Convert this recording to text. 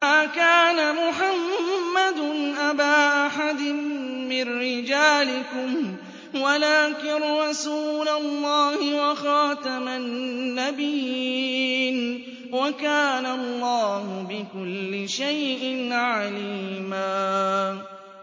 مَّا كَانَ مُحَمَّدٌ أَبَا أَحَدٍ مِّن رِّجَالِكُمْ وَلَٰكِن رَّسُولَ اللَّهِ وَخَاتَمَ النَّبِيِّينَ ۗ وَكَانَ اللَّهُ بِكُلِّ شَيْءٍ عَلِيمًا